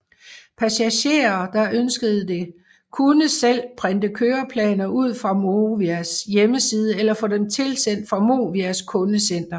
Passagerer der ønskede det kunne selv printe køreplaner ud fra Movias hjemmeside eller få dem tilsendt fra Movias kundecenter